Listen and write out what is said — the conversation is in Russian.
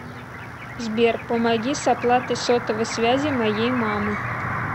сбер помоги с оплатой сотовой связи моей мамы